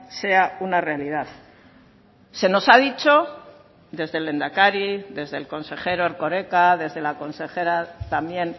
sea una realidad se nos ha dicho desde el lehendakari desde el consejero erkoreka desde la consejera también